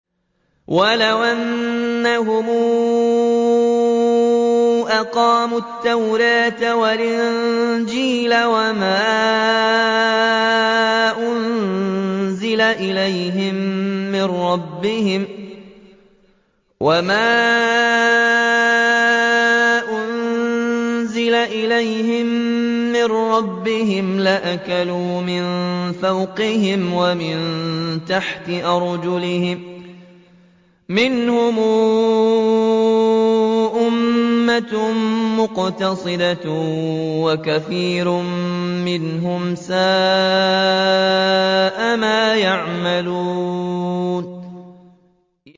وَلَوْ أَنَّهُمْ أَقَامُوا التَّوْرَاةَ وَالْإِنجِيلَ وَمَا أُنزِلَ إِلَيْهِم مِّن رَّبِّهِمْ لَأَكَلُوا مِن فَوْقِهِمْ وَمِن تَحْتِ أَرْجُلِهِم ۚ مِّنْهُمْ أُمَّةٌ مُّقْتَصِدَةٌ ۖ وَكَثِيرٌ مِّنْهُمْ سَاءَ مَا يَعْمَلُونَ